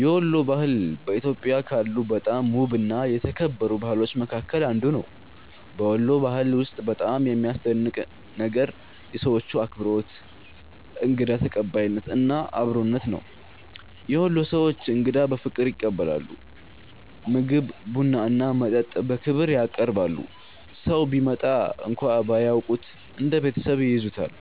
የወሎ ባህል በኢትዮጵያ ካሉ በጣም ውብና የተከበሩ ባህሎች መካከል አንዱ ነው። በወሎ ባህል ውስጥ በጣም የሚያስደንቀኝ ነገር የሰዎቹ አክብሮት፣ እንግዳ ተቀባይነት እና አብሮነት ነው። የወሎ ሰዎች እንግዳን በፍቅር ይቀበላሉ፤ ምግብ፣ ቡና እና መጠጥ በክብር ያቀርባሉ። ሰው ቢመጣ እንኳን ባያውቁት እንደ ቤተሰብ ይይዙታል።